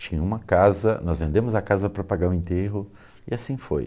Tinha uma casa, nós vendemos a casa para pagar o enterro e assim foi.